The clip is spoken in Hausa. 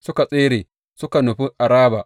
Suka tsere suka nufi Araba.